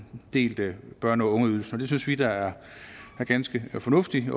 delt børne og ungeydelsen og det synes vi da er ganske fornuftigt vi